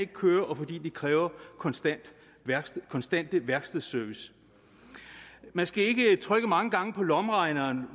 køre og fordi de kræver konstant konstant værkstedsservice man skal ikke trykke mange gange på lommeregneren